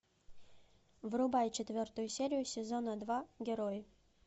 врубай четвертую серию сезона два герои